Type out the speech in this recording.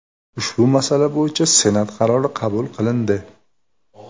Ushbu masala bo‘yicha Senat qarori qabul qilindi.